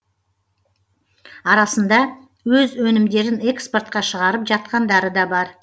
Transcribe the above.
арасында өз өнімдерін экспортқа шығарып жатқандары да бар